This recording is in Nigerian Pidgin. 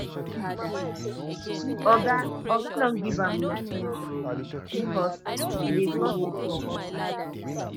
oga oga don give am suspension bcos she dey gossip for office